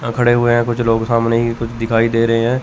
यहां खड़े हुए हैं कुछ लोग सामने ही कुछ दिखाई दे रहे हैं।